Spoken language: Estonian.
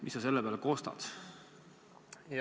Mis sa selle peale kostad?